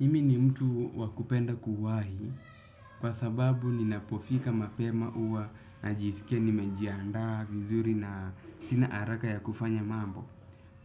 Mimi ni mtu wakupenda kuwahi kwa sababu ninapofika mapema uwa na jisikia nimejiandaa, vizuri na sina haraka ya kufanya mambo.